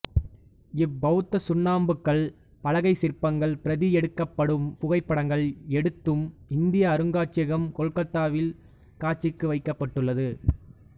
இப்பௌத்த சுண்ணாம்புக்கல் பலகைச் சிற்பங்கள் பிரதி எடுக்கப்பட்டும் புகைப்படங்கள் எடுத்தும் இந்திய அருங்காட்சியகம் கொல்கத்தாவில் காட்சிக்கு வைக்கப்பட்டுள்ளது